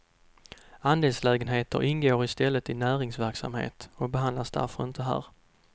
Andelslägenheter ingår i stället i näringsverksamhet och behandlas därför inte här.